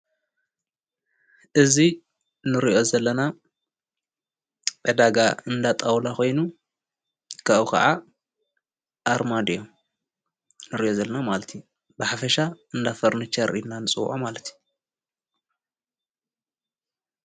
እዚ እንሪኦ ዘለና ዕዳጋ እንዳጣውላ ኾይኑ ካብኡ ኸዓ ኣርማድዮ እንሪኦ ዘለና ማለት እዩ ብሓፈሻ እንዳፈርንቸር ኢልና ንፅወዖ ማለት እዩ።